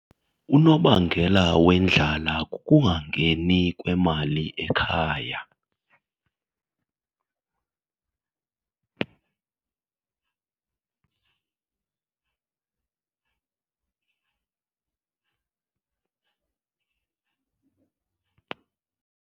Unobangela wendlala kukungangeni kwemali ekhaya.